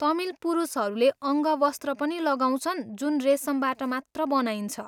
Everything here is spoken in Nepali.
तमिल पुरुषहरूले अङ्गवस्त्र पनि लगाउँछन् जुन रेसमबाट मात्र बनाइन्छ।